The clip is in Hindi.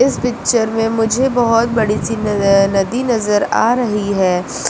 इस पिक्चर में मुझे बहुत बड़ी सी नज नदी नजर आ रही है।